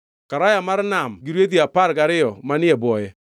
Karaya mar Nam gi rwedhi apar gariyo manie e bwoye;